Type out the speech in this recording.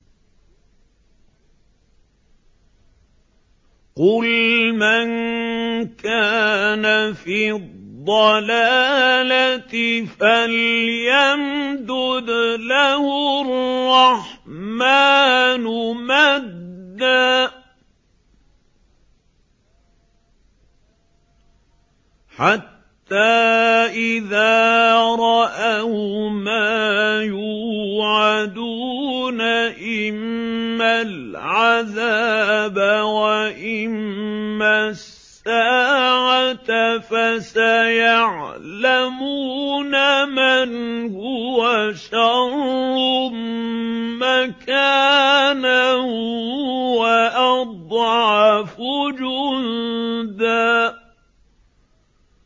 قُلْ مَن كَانَ فِي الضَّلَالَةِ فَلْيَمْدُدْ لَهُ الرَّحْمَٰنُ مَدًّا ۚ حَتَّىٰ إِذَا رَأَوْا مَا يُوعَدُونَ إِمَّا الْعَذَابَ وَإِمَّا السَّاعَةَ فَسَيَعْلَمُونَ مَنْ هُوَ شَرٌّ مَّكَانًا وَأَضْعَفُ جُندًا